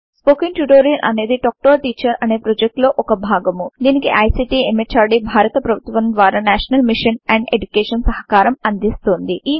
spoken tutorial అనేది talk to a teacher అనే project లో ఒక భాగము దీనికి ఐసీటీ ఎంహార్డీ భారత ప్రభుత్వము ద్వారా నేషనల్ మిషన్ అండ్ ఎడ్యుకేషన్ సహకారం అందిస్తోంది